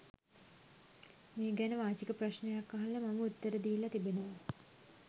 මේ ගැන වාචික ප්‍රශ්නයක් අහලා මම උත්තර දීලා තිබෙනවා.